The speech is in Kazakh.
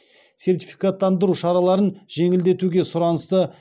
сертификаттандыру шараларын жеңілдетуге сұранысты